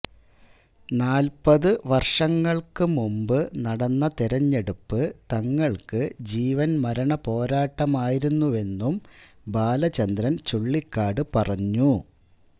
നാല്പത് വര്ഷങ്ങള്ക്ക് മുന്പ് നടന്ന തെരഞ്ഞെടുപ്പ് തങ്ങള്ക്ക് ജീവന് മരണ പോരാട്ടമായിരുന്നുവെന്നും ബാചന്ദ്രന് ചുള്ളിക്കാട് പറഞ്ഞു